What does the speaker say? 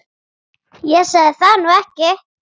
Ég sagði það nú ekki.